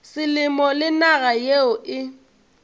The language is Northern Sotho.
selemo le naga yeo e